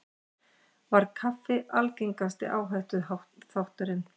Var kaffi algengasti áhættuþátturinn